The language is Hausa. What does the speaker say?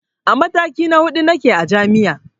A mataki na huɗu nake a jami'a